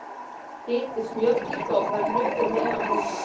Hitið smjörklípu á pönnu, við meðalhita.